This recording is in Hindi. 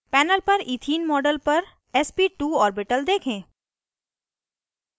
पैनल पर इथीन मॉडल पर sp2 ऑर्बिटल देखें